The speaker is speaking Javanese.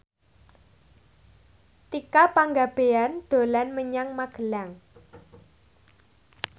Tika Pangabean dolan menyang Magelang